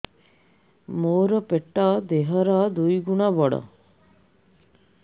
ମୋର ପେଟ ଦେହ ର ଦୁଇ ଗୁଣ ବଡ